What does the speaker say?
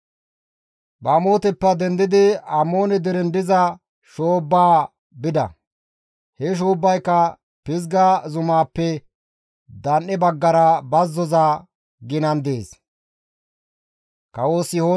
Bamooteppe dendidi Amoone deren diza shoobbaa bida; he shoobbayka Pizga zumaappe dan7e baggara bazzoza ginan dees.